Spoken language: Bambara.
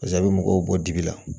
Pase a bɛ mɔgɔw bɔ dibi la